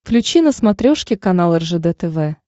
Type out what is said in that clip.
включи на смотрешке канал ржд тв